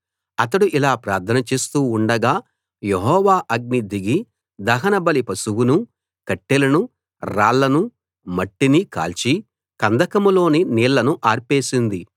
అతడు ఇలా ప్రార్థన చేస్తూ ఉండగా యెహోవా అగ్ని దిగి దహనబలి పశువునూ కట్టెలనూ రాళ్లనూ మట్టినీ కాల్చి కందకంలోని నీళ్లను ఆర్పేసింది